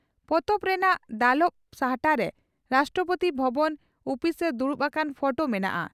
ᱯᱚᱛᱚᱵ ᱨᱮᱱᱟᱜ ᱫᱟᱞᱚᱵ ᱥᱟᱦᱴᱟᱨᱮ ᱨᱟᱥᱴᱨᱚᱯᱳᱛᱤ ᱵᱷᱚᱵᱚᱱ ᱩᱯᱤᱥᱨᱮ ᱫᱩᱲᱩᱵ ᱟᱠᱟᱱ ᱯᱷᱚᱴᱚ ᱢᱮᱱᱟᱜᱼᱟ ᱾